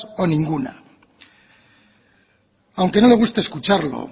o ninguna aunque no le guste escucharlo